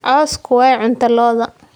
Cawsku waa cunto lo'da.